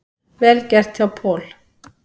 Vel gert hjá Paul.